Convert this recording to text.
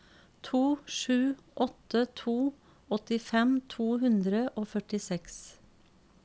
to sju åtte to åttifem to hundre og førtiseks